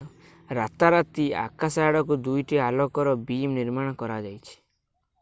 ରାତାରାତି ଆକାଶ ଆଡକୁ ଦୁଇଟି ଆଲୋକର ବିମ୍ ନିର୍ମାଣ କରାଯାଇଛି